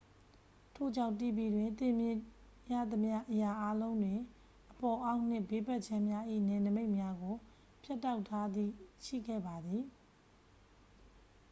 ထို့ကြောင့် tv တွင် သင်တွေ့မြင်ရသမျှ အရာအားလုံးတွင် အပေါ် အောက်နှင့် ဘေးဘက်ခြမ်းများ၏ နယ်နိမိတ်များကို ဖြတ်တောက်ထားသည့် ရှိခဲ့ပါသည်